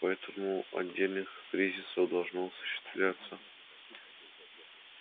поэтому отдельных кризисов должно осуществляться с